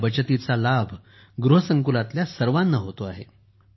या बचतीचा फायदा गृहसंकुलातील सर्वाना होतो आहे